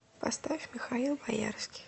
поставь михаил боярский